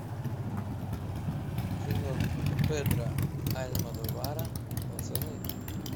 кино педро альмодовара пацаны